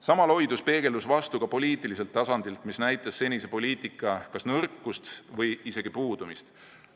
Sama loidus peegeldus vastu ka poliitiliselt tasandilt, mis näitas senise poliitika nõrkust või isegi puudumist.